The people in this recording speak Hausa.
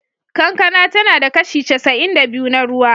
Kankana tana da kashi casa'in da biyu na ruwa.